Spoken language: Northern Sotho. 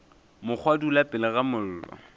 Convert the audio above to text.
mokgwa dula pele ga mollo